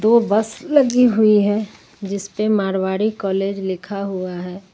तो बस लगी हुई है जिस पर मारवाड़ी कॉलेज लिखा हुआ है।